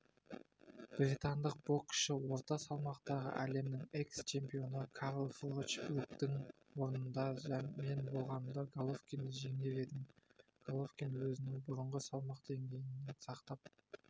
британдық боксшы орта салмақтағы әлемнің экс-чемпионы карл фроч бруктың орнында мен болғанымда головкинді жеңер едім головкин өзінің бұрынғы салмақ деңгейін сақтап